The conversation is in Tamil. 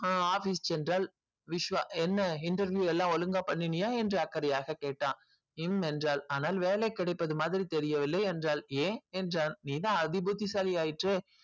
office சென்றால் என்ன interview எல்லாம் ஒழுங்கா பண்ணிய என்று அக்கறையா கேட்டான் உம் என்றால் ஆனால் வேலை கிடைப்பது மாதிரி தெரியவில்லை என்றல் ஏன் நீதான் அதிபுத்தி சாலி